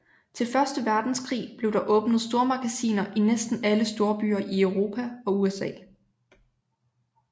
Til Første Verdenskrig blev der åbnet stormagasiner i næsten alle storbyer i Europa og USA